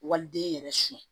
Waliden yɛrɛ su